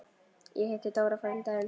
Ég hitti Dóra frænda þinn.